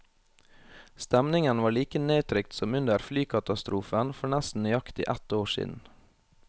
Stemningen var like nedtrykt som under flykatastrofen for nesten nøyaktig ett år siden.